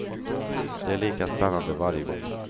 Det är lika spännande varje gång.